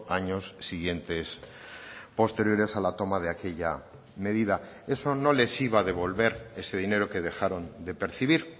años siguientes posteriores a la toma de aquella medida eso no les iba a devolver ese dinero que dejaron de percibir